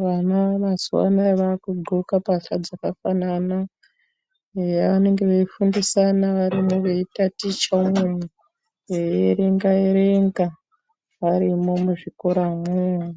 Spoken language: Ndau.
Vana mazuwa anaya vakudxoka mbahla dzakafanana eya vanonga veifundisana varimwo veitatichamwo veierenga erenga varimwo muzvikora umwomwo.